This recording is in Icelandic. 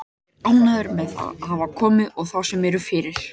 Ég er ánægður með þá sem hafa komið og þá sem eru fyrir.